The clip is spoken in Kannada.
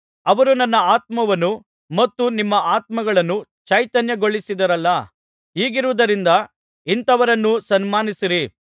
ಅವರು ನನ್ನ ಆತ್ಮವನ್ನೂ ಮತ್ತು ನಿಮ್ಮ ಆತ್ಮಗಳನ್ನೂ ಚೈತನ್ಯಗೊಳಿಸಿದರಲ್ಲ ಹೀಗಿರುವುದರಿಂದ ಇಂಥವರನ್ನು ಸನ್ಮಾನಿಸಿರಿ